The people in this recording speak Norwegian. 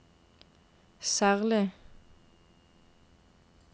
særlig